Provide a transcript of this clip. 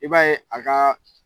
I b'a ye a kaa